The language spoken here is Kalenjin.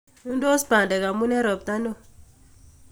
Nudos badek omun en ropta neo.